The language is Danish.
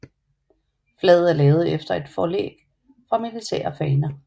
Flaget er lavet efter et forlæg fra militære faner